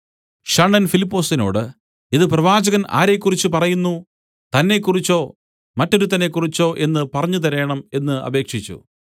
ഷണ്ഡൻ ഫിലിപ്പൊസിനോട് ഇത് പ്രവാചകൻ ആരെക്കുറിച്ച് പറയുന്നു തന്നെക്കുറിച്ചോ മറ്റൊരുത്തനെക്കുറിച്ചോ എന്ന് പറഞ്ഞുതരേണം എന്നു അപേക്ഷിച്ചു